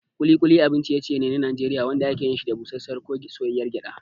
Ƙuli ƙuli abin ciye-ciye ne na Najeriya wanda ake yin shi da busasshiyar ko soyayyar gyada.